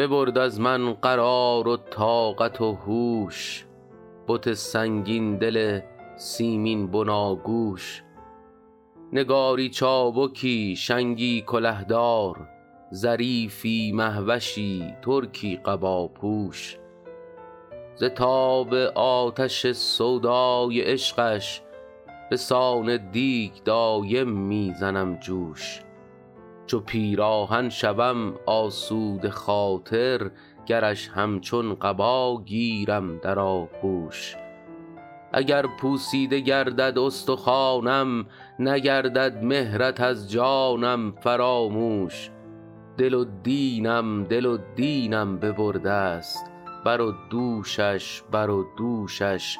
ببرد از من قرار و طاقت و هوش بت سنگین دل سیمین بناگوش نگاری چابکی شنگی کله دار ظریفی مه وشی ترکی قباپوش ز تاب آتش سودای عشقش به سان دیگ دایم می زنم جوش چو پیراهن شوم آسوده خاطر گرش همچون قبا گیرم در آغوش اگر پوسیده گردد استخوانم نگردد مهرت از جانم فراموش دل و دینم دل و دینم ببرده ست بر و دوشش بر و دوشش